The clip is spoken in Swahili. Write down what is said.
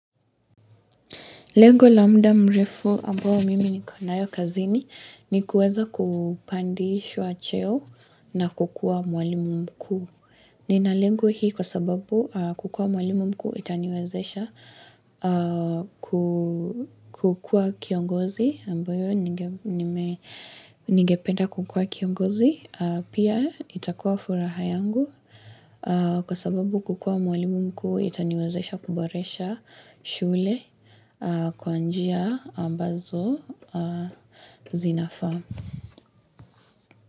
Lengo la muda mrefu ambao mimi niko nayo kazini ni kuweza kupandishwa cheo na kukua mwalimu mkuu. Nina lengo hii kwa sababu kukua mwalimu mkuu itaniwezesha kukua kiongozi ambayo ningependa kukua kiongozi. Pia itakuwa furaha yangu kwa sababu kukua mwalimu mkuu itaniwezesha kuboresha shule. Kwanjia ambazo zinafaa.